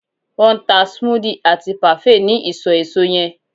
won n ta smoothie ati parfait ni iso eso yen